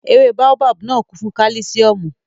Ewé báóbábù náà kún fún kálísíọ̀mù